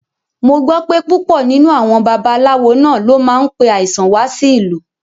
Mo gbọ́ pé púpọ̀ nínú àwọn babaláwo náà ló máa ń pe àìsàn wá sí ìlú